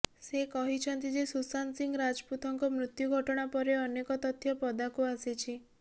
ସେ କହିଛନ୍ତି ଯେ ସୁଶାନ୍ତ ସିଂହ ରାଜପୁତଙ୍କ ମୃତ୍ୟୁ ଘଟଣା ପରେ ଅନେକ ତଥ୍ୟ ପଦାକୁ ଆସିଛି